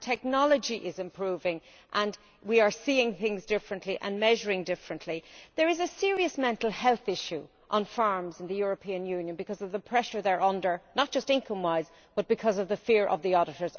Our technology is improving and we are seeing things differently and measuring differently. There is a serious mental health issue on farms in the European Union because of the pressure farmers are under, not just income wise but because of the fear of the auditors.